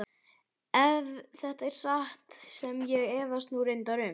Ef þetta er satt sem ég efast nú reyndar um.